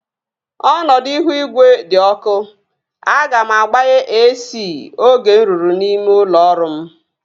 Ọnọdụ ihu igwe di ọkụ. Aga m agbaghe AC oge m ruru n'ime ụlọ ọrụ m